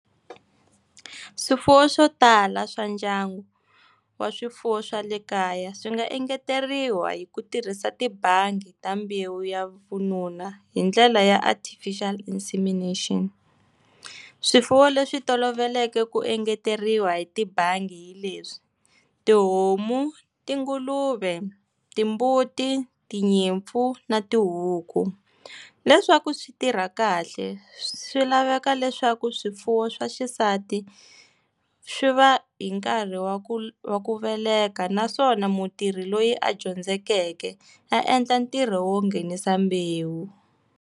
Swipfuwo swo tala swa ndyangu, wa swifuwo swa le kaya swi nga engeteriwa hi ku tirhisa tibandi ta mbewu ya vununa hi ndlela ya artificial insemination. Swifuwo leswi tolovelekeke ku engeteriwa hi tibandi hileswi, tihomu, tinguluve, timbuti, tinyimpfu, na tihuku. Leswaku swi tirha kahle, swi laveka leswaku swifuwo swa xisati, swi va hi nkarhi wa ku wa ku veleka naswona mutirhi loyi a dyondzeke, a endla ntirho wo nghenisa mbewu.